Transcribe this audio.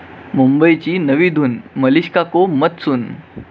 मुंबईची नवी धून, 'मलिष्का को मत सुन'!